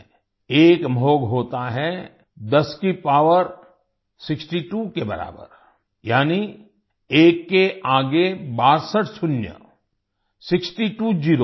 एक महोघ होता है 10 की पॉवर 62 के बराबर यानी एक के आगे 62 शून्य सिक्सटी त्वो ज़ेरो